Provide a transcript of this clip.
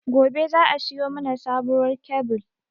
Gobe za a siyo mana sabuwar kyabil